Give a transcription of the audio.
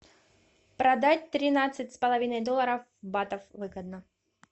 продать тринадцать с половиной долларов в батах выгодно